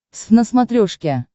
твз на смотрешке